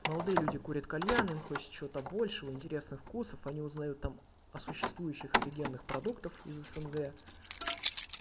молодые люди курят кальян им хочется чего-то большего интересных вкусов они узнают там о существующих офигенных продуктов из снг